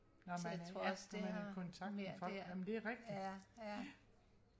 når man ja når man er i kontakt med folk ja men det er rigtigt